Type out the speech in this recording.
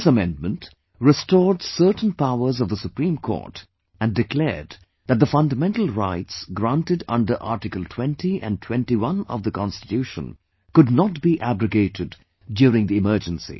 This amendment, restored certain powers of Supreme Court and declared that the fundamental rights granted under Article 20 and 21 of the Constitution could not be abrogated during the Emergency